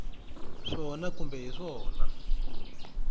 swona kumbe a hi swona